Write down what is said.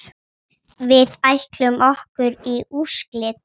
Við ætlum okkur í úrslit.